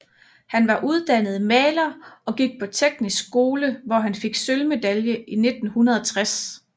Han var uddannet maler og gik på Teknisk skole hvor han fik sølvmedalje i 1960